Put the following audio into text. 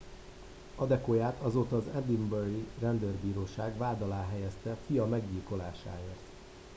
adekoyát azóta az edinburghi rendőrbíróság vád alá helyezte fia meggyilkolásáért